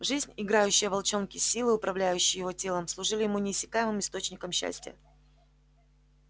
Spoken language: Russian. жизнь играющая в волчонке силы управляющие его телом служили ему неиссякаемым источником счастья